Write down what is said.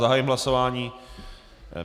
Zahájím hlasování.